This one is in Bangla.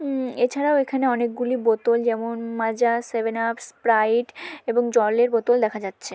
উম এছাড়াও এখানে অনেকগুলি বোতল যেমন মাজা সেভেন আপ স্প্রাইট এবং জলের বোতল দেখা যাচ্ছে।